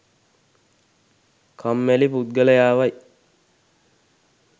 කම්මැලි පුද්ගලයාවයි.